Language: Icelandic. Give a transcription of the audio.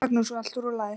Magnús: Og allt rúllað?